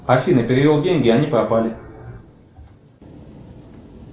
афина перевел деньги а они пропали